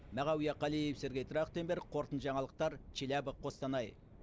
мағауия қалиев сергей трахтенберг қорытынды жаңалықтар челябі қостанай